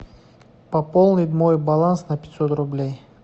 пополнить мой баланс на пятьсот рублей